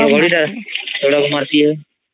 ଘଡଘଡି ଟା ଚଡ଼କ୍ ମାରତି ହଁ